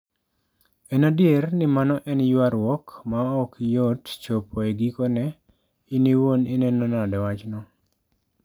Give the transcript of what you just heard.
En adier ni mano en ywaruok ma ok yot chopo e gikone, in iwuon ineno nade wachno?